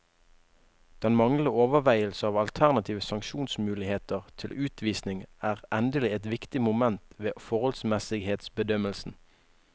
Den manglende overveielse av alternative sanksjonsmuligheter til utvisning er endelig et viktig moment ved forholdsmessighetsbedømmelsen.